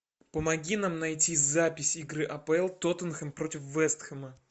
помоги нам найти запись игры апл тоттенхэм против вест хэма